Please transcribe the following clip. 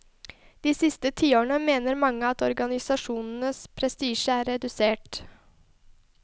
De siste tiårene mener mange at organisasjonens prestisje er redusert.